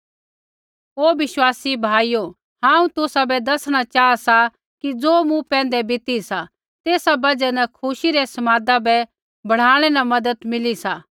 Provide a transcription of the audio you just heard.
ओ विश्वासी भाइयो हांऊँ तुसाबै दैसणा चाहा सा कि ज़ो मूँ पैंधै बीती सा तेसा बजहा न खुशी रै समादा बै बढ़ानै न मज़त मिली सा